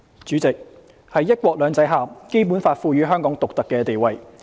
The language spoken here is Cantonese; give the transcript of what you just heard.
主席，在"一國兩制"下，《基本法》賦予香港獨特的地位。